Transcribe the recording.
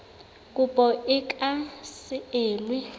kopo e ka se elwe